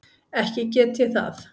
Ekki get ég það.